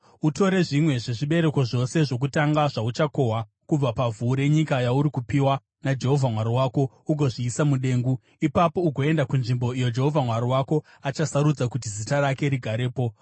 utore zvimwe zvezvibereko zvose zvokutanga zvauchakohwa kubva pavhu renyika yauri kupiwa naJehovha Mwari wako ugozviisa mudengu. Ipapo ugoenda kunzvimbo iyo Jehovha Mwari wako achasarudza kuti Zita rake rigarepo,